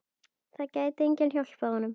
Það gæti enginn hjálpað honum.